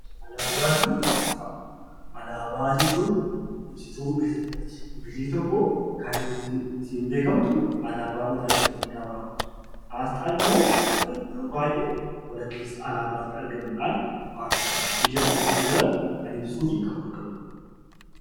Alaabaa jechuun ibsituu biyya tokkooti. Biyyi tokko kan ittiin beekamtu alaabaa mataasheetii gaafa qabaattudha. Asxaan immoo yeroo baay'ee walakkeessa alaabaatti argamuudhaan waantota biyya sana keessa jiran kan ibsuu fi kan bakka bu'udha.